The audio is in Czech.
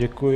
Děkuji.